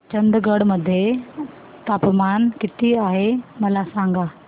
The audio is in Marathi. चंदगड मध्ये तापमान किती आहे मला सांगा